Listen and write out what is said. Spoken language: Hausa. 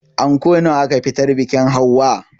Anko nawa aka fitar biƙin hauwa?